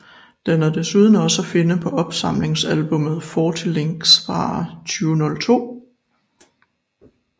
Den er desuden også at finde på opsamlingsalbummet Forty Licks fra 2002